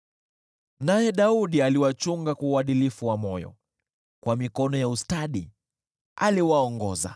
Naye Daudi aliwachunga kwa uadilifu wa moyo, kwa mikono ya ustadi aliwaongoza.